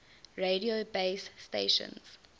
radio base stations